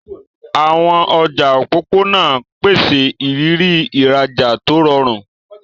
Àwọn ọjà òpópónà ń pèsè ìrírí ìrajà tó rọrùn.